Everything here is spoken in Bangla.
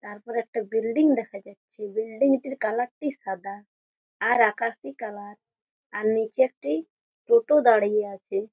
তারপর একটা বিল্ডিং দেখা যাচ্ছে বিল্ডিং -টির কালার -টি সাদা আর আকাশি কালার আর নিচে একটি টোটো দাঁড়িয়ে আছে।